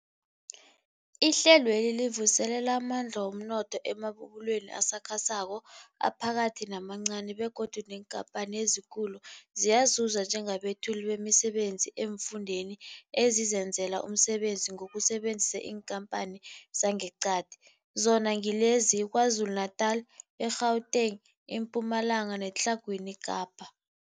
Ihlelweli livuselela amandla womnotho emabubulweni asakhasako, aphakathi namancani begodu neenkhamphani ezikulu ziyazuza njengabethuli bemisebenzi eemfundeni ezizenzela umsebenzi ngokusebenzisa iinkhamphani zangeqadi, zona ngilezi, yiKwaZulu-Natala, i-Gauteng, iMpumalanga neTlhagwini Kapa.